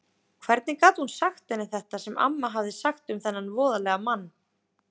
Hvernig gat hún sagt henni þetta sem amma hafði sagt um þennan voðalega mann?